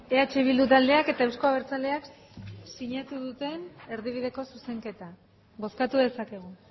eh bildu taldeak eta euzko abertzaleak sinatu duten erdibideko zuzenketa bozkatu dezakegu